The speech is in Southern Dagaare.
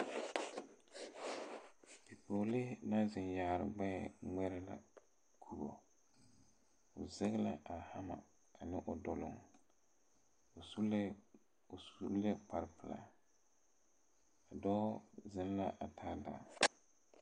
Pɔgelee naŋ zeŋ yaare gbɛ wɛlebare o zege la hama ane o doloŋ suu la kpaare pɛle dɔɔ zeŋ la pare